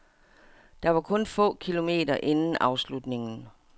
Det var kun få kilometer inden afslutningen.